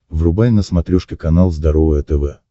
врубай на смотрешке канал здоровое тв